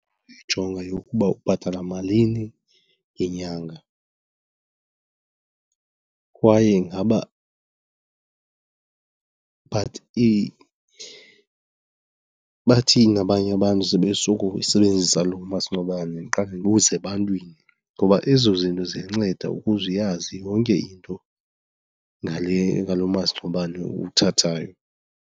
Ndijonga eyokuba ubhatala malini ngenyanga kwaye ingaba bathini abanye abantu sebesuka uyisebenzisa loo masingcwabane, ndiqale ndibuze ebantwini. Ngoba ezo zinto ziyanceda ukuze uyazi yonke into ngalo masingcwabane uwuthathayo.